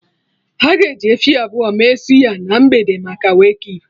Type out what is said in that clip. Aga eji efi abụọ mee suya na mgbede maka Wake keep